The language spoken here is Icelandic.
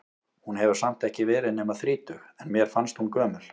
Hún hefur samt ekki verið nema þrítug, en mér fannst hún gömul.